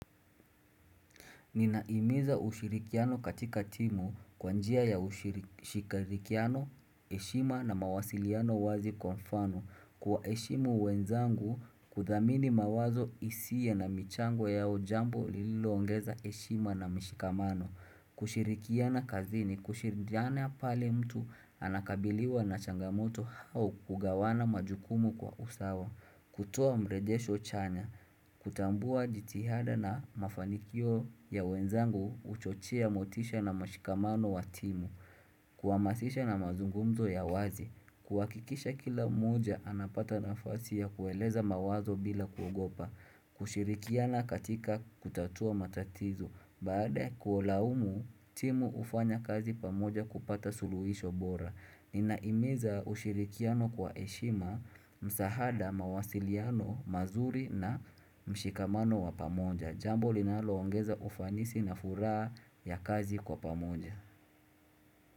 Ninaimiza ushirikiano katika timu kwanjia ya ushirikiano, eshima na mawasiliano wazi konfano. Kwa eshimu wenzangu, kudhamini mawazo isie na michango ya ujambu liloongeza eshima na mishikamano. Kushirikiana kazini, kushiridiana pale mtu anakabiliwa na changamoto hao kugawana majukumu kwa usawa. Kutua mrejesho chanya, kutambua jitihada na mafanikio ya wenzangu uchochia motisha na mashikamano wa timu Kuamasisha na mazungumzo ya wazi, kuwakikisha kila muja anapata nafasi ya kueleza mawazo bila kuogopa kushirikiana katika kutatua matatizo, baada kuolaumu timu ufanya kazi pamoja kupata suluhisho bora Ninaimeza ushirikiano kwa eshima, msahada, mawasiliano, mazuri na mshikamano wa pamonja Jambo linaloongeza ufanisi na furaa ya kazi kwa pamonja.